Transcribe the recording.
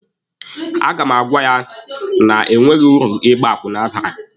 A ga m agwa ya na enweghị uru ịgba akwụna bara.